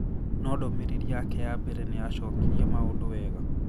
No ndũmĩrĩri yake ya mbere nĩ yacokirie maũndũ wega